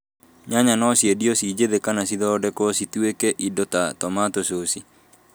Nyanya no ciendio ci njĩthĩ kana cithondekwo cituĩke indo ta tũmatũ coci